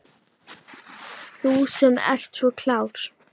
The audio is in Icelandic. Þú sem ert svo klár.